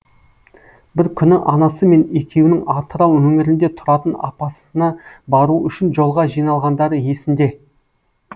бір күні анасы мен екеуінің атырау өңірінде тұратын апасына бару үшін жолға жиналғандары есінде